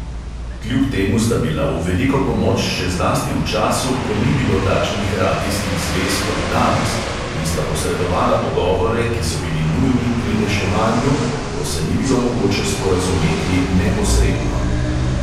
Kljub temu sta bila v veliko pomoč še zlasti v času, ko ni bilo takšnih radijskih zvez kot danes in sta posredovala pogovore, ki so bili nujni pri reševanju, ko se ni bilo mogoče sporazumeti neposredno.